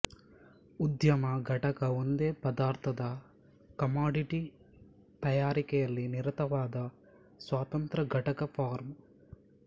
ಉದ್ಯಮ ಘಟಕ ಒಂದೇ ಪದಾರ್ಥದ ಕಮಾಡಿಟಿ ತಯಾರಿಕೆಯಲ್ಲಿ ನಿರತವಾದ ಸ್ವತಂತ್ರಘಟಕ ಫರ್ಮ್